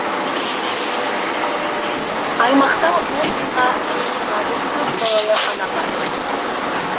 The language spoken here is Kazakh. аймақта он мыңға жетеғабыл көпбалалы ана бар